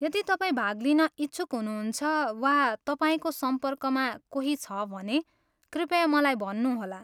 यदि तपाईँ भाग लिन इच्छुक हुनुहुन्छ वा तपाईँको सम्पर्कमा कोही छ भने, कृपया मलाई भन्नु होला।